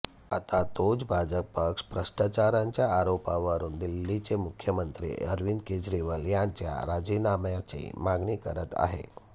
आता तोच भाजप पक्ष भ्रष्टाचारांच्या आरोपांवरून दिल्लीचे मुख्यमंत्री अरिवद केजरीवाल यांच्या राजीनाम्याची मागणी करत आहे